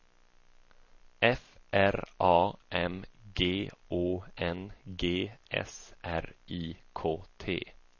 F R A M G Å N G S R I K T